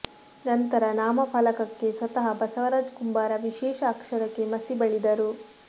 ನಂತರ ನಾಮಫಲಕಕ್ಕೆ ಸ್ವತಃ ಬಸವರಾಜ ಕುಂಬಾರ ವಿಶೇಷ ಅಕ್ಷರಕ್ಕೆ ಮಸಿ ಬಳಿದರು